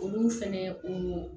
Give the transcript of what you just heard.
Olu fɛnɛ o